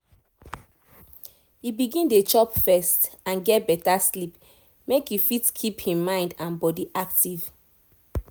e begin dey chop first and get better sleep make e fit keep e mind and body active